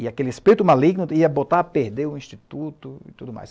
E aquele espírito maligno ia botar a perder o Instituto e tudo mais.